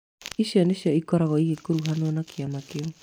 Ici nĩcio ikoragwo igĩkuruhanio na kĩama kĩu